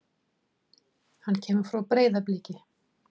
Hann kemur frá Breiðabliki.